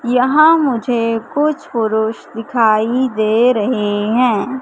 यहां मुझे कुछ पुरुष दिखाई दे रहे हैं।